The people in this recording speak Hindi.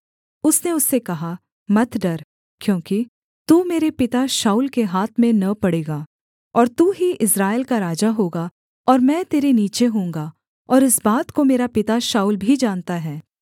उसने उससे कहा मत डर क्योंकि तू मेरे पिता शाऊल के हाथ में न पड़ेगा और तू ही इस्राएल का राजा होगा और मैं तेरे नीचे होऊँगा और इस बात को मेरा पिता शाऊल भी जानता है